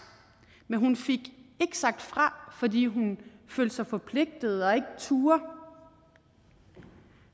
men hun fik ikke sagt fra fordi hun følte sig forpligtet og ikke turde